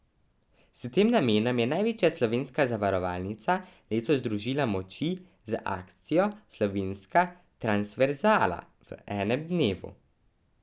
S tem namenom je največja slovenska zavarovalnica letos združila moči z akcijo Slovenska transverzala v enem dnevu.